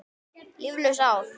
Líflaus ár.